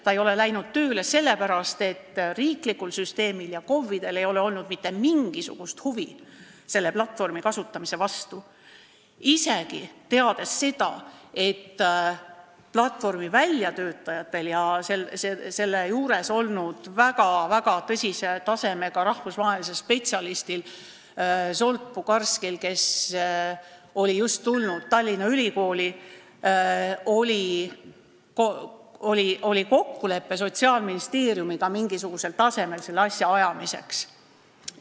Ta ei ole hakanud tööle sellepärast, et riiklikul süsteemil ja KOV-idel ei ole olnud mitte mingisugust huvi selle platvormi kasutamise vastu, isegi hoolimata sellest, et platvormi väljatöötajatel ja selle juures olnud väga-väga tõsise tasemega rahvusvahelisel spetsialistil Zsolt Bugarszkil, kes oli just tulnud Tallinna Ülikooli, oli kokkulepe Sotsiaalministeeriumiga selle asja mingisugusel tasemel ajamiseks.